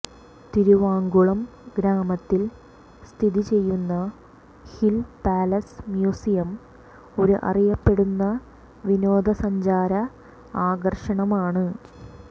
തിരുവാങ്കുളം ഗ്രാമത്തിൽ സ്ഥിതി ചെയ്യുന്ന ഹിൽ പാലസ് മ്യൂസിയം ഒരു അറിയപ്പെടുന്ന വിനോദസഞ്ചാര ആകർഷണമാണ്